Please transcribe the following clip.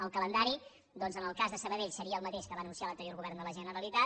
el calendari doncs en el cas de sabadell seria el mateix que va anunciar l’anterior govern de la generalitat